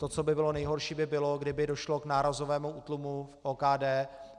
To, co by bylo nejhorší, by bylo, kdyby došlo k nárazovému útlumu v OKD.